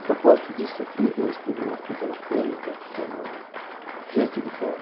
A propósito disso, eu escrevi uma pequena crônica que se chama Gente de Fora.